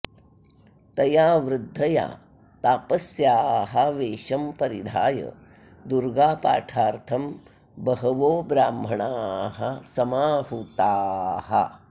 तया वृद्धया तापस्याः वेषं परिधाय दुर्गापाठार्थं बहवो ब्राह्मणाः समाहूताः